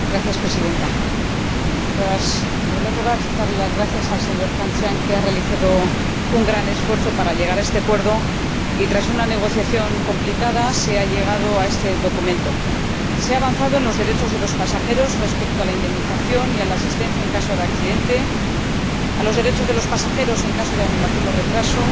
Presidenta, en primer lugar, quiero darle las gracias al señor Cancian, que ha realizado un gran esfuerzo para llegar a este acuerdo y, tras una negociación complicada, se ha consensuado este documento. Se ha avanzado en los derechos de los pasajeros respecto a la indemnización y a la asistencia en caso de accidente, así como en caso de anulación o retraso,